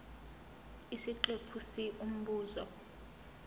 isiqephu c umbuzo